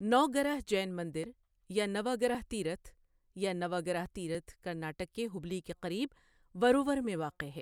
نوگرہ جین مندر یا نوگرہ تیرتھ یا نوگرہ ترتھ کرناٹک کے ہبلی کے قریب ورور میں واقع ہے۔